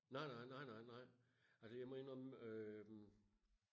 nej nej nej nej nej altså jeg må indrømme øhm